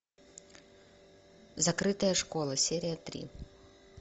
закрытая школа серия три